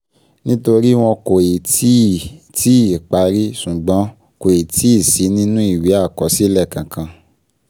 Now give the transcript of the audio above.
Nítorí wọ́n kò ì tíì ì tíì parí, ṣùgbọ́n kò ì tíì sí nínú ìwé àkọsílẹ̀ kankan